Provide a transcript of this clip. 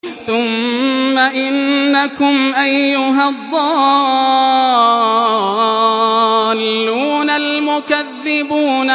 ثُمَّ إِنَّكُمْ أَيُّهَا الضَّالُّونَ الْمُكَذِّبُونَ